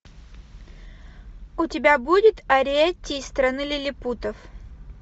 у тебя будет ариэтти из страны лилипутов